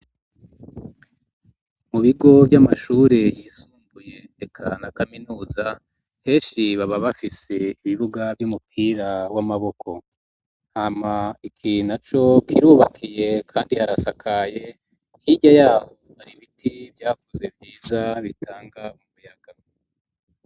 mu bigo vy'amashuri yisumbuye eka na kaminuza heshi baba bafise ibibuga vy'umupira w'amaboko, hama iki naco kirubakiye kandi harasakaye hirya yaho hari ibiti vyakuze vyiza bitanga umuyaga.